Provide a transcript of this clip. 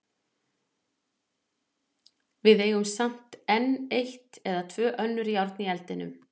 Við eigum samt enn eitt eða tvö önnur járn í eldinum.